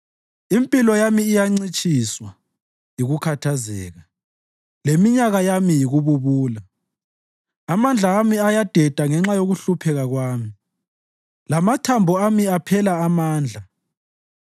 Impilo yami incitshiswa yikukhathazeka, leminyaka yami yikububula; amandla ami ayadeda ngenxa yokuhlupheka kwami, lamathambo ami aphela amandla.